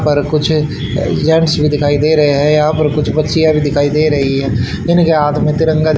पर कुछ जेंट्स भी दिखाई दे रहे हैं यहां पर कुछ बच्चियाँ भी दिखाई दे रही है जिनके हाथ में तिरंगा झ--